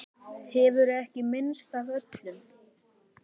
Hefurðu ekki minnst af öllum?